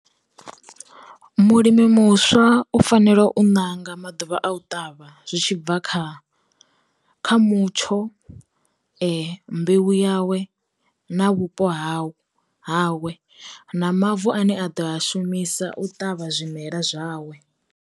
Mulimi muswa u fanela u ṋanga maḓuvha a u ṱavha zwi tshibva kha kha mutsho, mbeu yawe, na vhupo hau hawe, na mavu ane a ḓo a shumisa u ṱavha zwimela zwawe.